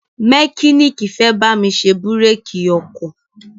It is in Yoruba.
mẹkíníìkì fẹ́ bámi ṣe búrékì ọkọ̀